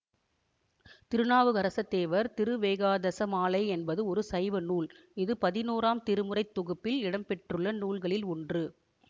திருநாவுக்கரசுதேவர் திருவேகாதசமாலை என்பது ஒரு சைவ நூல் இது பதினோராம் திருமுறைத் தொகுப்பில் இடம்பெற்றுள்ள நூல்களில் ஒன்று